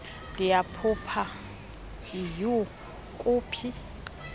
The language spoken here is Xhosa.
ndiyaphupha iyhu kuphi